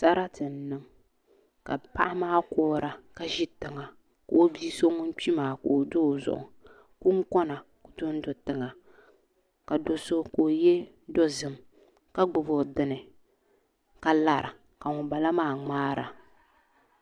Sarati n niŋ ka paɣa maa kuhura ka ʒi tiŋa ka o bia so ŋun kpi maa pa o zuɣu ka kunkona ku dondo tiŋa ka do so ka o yɛ dozim ka gbubi o dini ka lara ka ŋunbala maa ŋmaara